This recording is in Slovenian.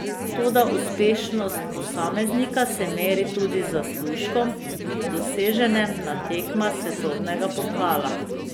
Toda uspešnost posameznika se meri tudi z zaslužkom, doseženem na tekmah svetovnega pokala.